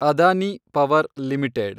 Adani power limited